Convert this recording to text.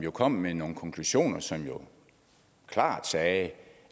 kom med nogle konklusioner som klart sagde